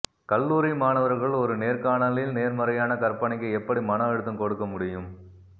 கல்லூரி மாணவர்கள் ஒரு நேர்காணலில் நேர்மறையான கற்பனைக்கு எப்படி மன அழுத்தம் கொடுக்க முடியும்